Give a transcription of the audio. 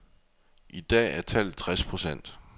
I dag er tallet tres procent.